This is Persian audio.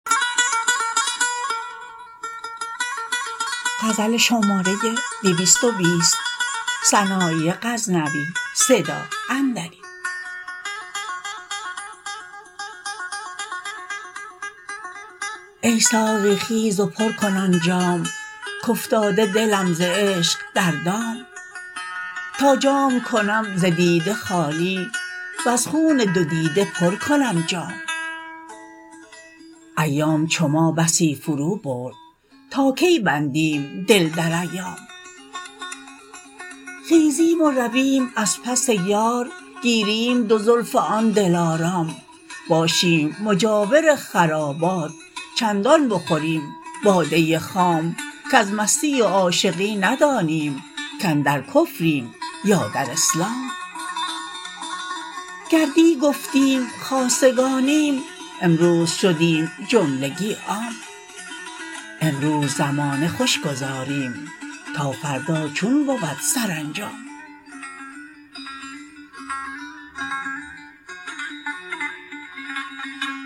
ای ساقی خیز و پر کن آن جام کافتاده دلم ز عشق در دام تا جام کنم ز دیده خالی وز خون دو دیده پر کنم جام ایام چو ما بسی فرو برد تا کی بندیم دل در ایام خیزیم و رویم از پس یار گیریم دو زلف آن دلارام باشیم مجاور خرابات چندان بخوریم باده خام کز مستی و عاشقی ندانیم کاندر کفریم یا در اسلام گر دی گفتیم خاصگانیم امروز شدیم جملگی عام امروز زمانه خوش گذاریم تا فردا چون بود سرانجام